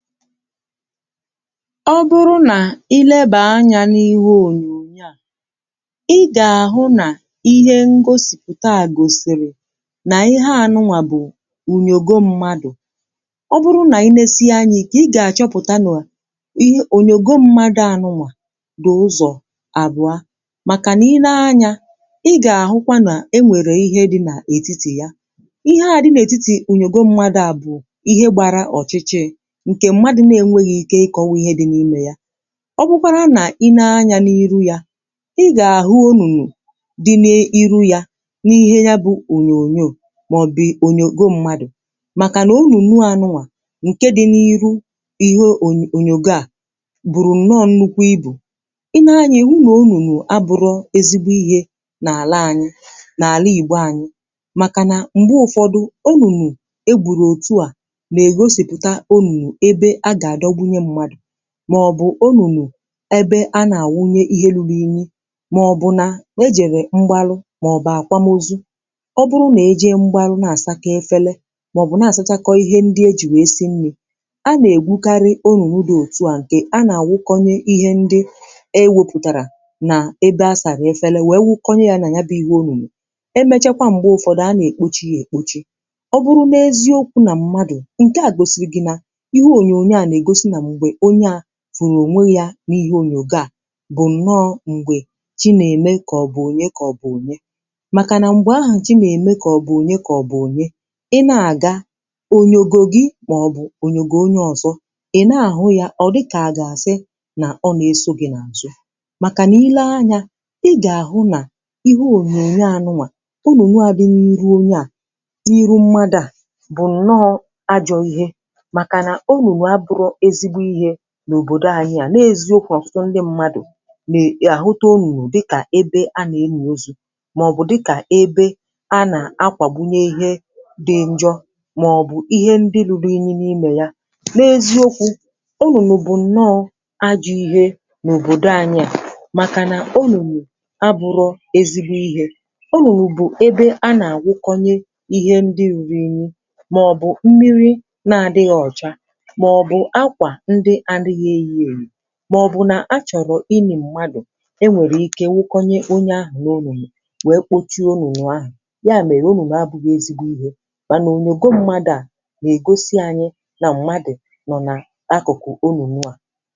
O bụrụ nà i lebà anyȧ n’ihe ònyònyo à, i gà-àhụ nà ihe ngosìpụ̀ta à gòsìrì nà ihe à nụnwà bụ̀ ùnyògo mmadụ̀. Ọ bụrụ nà inėsi̇ ya anya ike, i gà-àchọpụ̀ta na ònyògo mmadụ̀ à nụnwà dị̀ ụzọ̀ àbụ̀a, màkànà i nee anyȧ, i gà-àhụkwa nà e nwèrè ihe dị nà ètitì ya. Ihe à dị n’ètitì ònyògo mmadụ̇ à bụ̀ ihe gbara ọ̀chịchị̇ nke mmadụ n’enweghị ike ịkọwa ihe dị n’ime yȧ ọ bụkwara n’inee anya n’iru ya, ị gà-àhụ onùnù dị n’iru yȧ n’ihe bụ̀ ònyònyò màọ̀bụ̀ onyògo mmadụ̀ màkànà onùnù à nụà ǹke dị n’iru ihe onyonyògo à gbụ̀rụ̀ nnọọ̇ nnukwu ibù. i nee anyȧ iwu nà onùnù abụrọ ezigbo ihe n’àla anyị n’àla ìgbo anyị màkànà m̀gbe ụ̀fọdụ onùnù e gbùrù òtu à, nà-ègosipụ̀ta onùnù ebe a gadọgbunye mmadụ̀ maọ̀bụ̀ onùnù ebe a nà-àwunye ihe lulu̇ imi màọ̀bụ̀ na ejèle mgbalụ̇ màọ̀bụ̀ àkwamozu. ọ bụrụ nà ejee mgbalụ̇ na-àsa kọọ efèle màọ̀bụ̀ na-àsachakọ̇ ihe ndị ejì wee si nni a nà-ègwukarị onùnù dị òtu à ǹkè a nà-àwukonye ihe ndị ewėpụ̀tàrà nà ebe a sàrà efèle wèe wukonye yȧ nà ya bụ ihe onùnù. Emechekwa m̀gbè ụfọdụ, a nà-èkpochi ya èkpochi. Ọ bụrụ nà eziokwu nà mmadụ̀ ǹke à gosiri gị nà ihe ònyònyo à n’ègosi na mgbe onye a fụrụ ònwe yȧ n’ihe ònyògò a bụ̀ ǹnọọ̇ m̀gbè chi nà-eme kà ọ bụ̀ ònye kà ọ bụ̀ ònye màkà nà m̀gbè ahụ̀ chi nà-eme kà ọ bụ̀ ònye kà ọ bụ̀ ònye ị na-àga, ònyògò gi màọbụ̀ ònyògò onye ọ̀zọ ị na-àhụ ya ọ̀ dịkà à gà-àsị nà ọ nà-esȯ gị̇ nà àzụ. màkà n’ile anyȧ, ị gà-àhụ nà ihe ònyònyo à nụ à onùnù a dị n’iru onye a n’iru mmadụ à, bụ̀ ǹnọọ̇ ajọ̇ ihe maka na onùnù aburo ezi ihe n’obodo anyi à n’eziokwu n’ọ̀tụtụ ndị mmadụ̀ n’ahụtà onùnụ̀ dịkà ebe a n'eli ozu màọbụ̀ dịkà ebe a nà-akwàgbunye ihe dị njọ màọbụ̀ ihe ndị lùrù inyì n’imė yàa. N’eziokwu̇, onùnụ̀ bụ̀ nnọọ̇ ajọ̇ ihe n’òbòdò anyi à màkà nà onùnụ̀ abụrọ̇ ezigbo ihe. Onùnụ̀ bụ̀ ebe a nà-àwụkọnyė ihe ndị rùrù inyi màọbụ̇ mmiri na-adịghị̇ ọ̀cha màọ̀bụ̀ akwa ndi adighi eyi eyi maọbụ nà a chọ̀rọ̀ ịnì mmadụ̀ enwèrè ike nwụkọnyè onye ahụ̀ n’onùmè wee kpochie onùmè ahụ̀. Ya mèrè onùmè abụghị̇ ezigbo ihe. Mànà ònyògò mmadụ̀ à n’egosi anyị na mmadụ̀ nọ̀ n’akụ̀kụ̀ onùnụ̀ a.